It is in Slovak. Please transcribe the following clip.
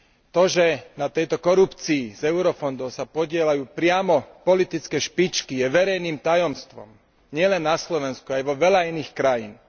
To, že na tejto korupcii z eurofondov sa podieľajú priamo politické špičky, je verejným tajomstvom nielen na Slovensku, aj vo veľa iných krajinách.